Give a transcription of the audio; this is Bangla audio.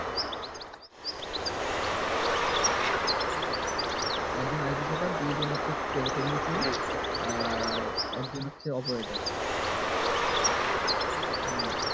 একজন id setup দুজন technician operator আর একজন operator হুম